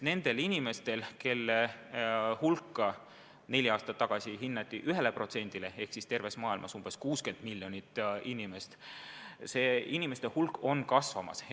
Neli aastat tagasi hinnati selliste inimeste osakaaluks 1% elanikkonnast ehk siis terves maailmas 60 miljonit inimest, aga nende hulk on kasvamas.